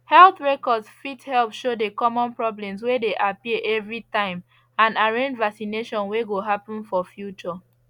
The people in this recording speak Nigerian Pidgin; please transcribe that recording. health record fit help show the common problems way they appear every time and arrange vaccination way go happen for future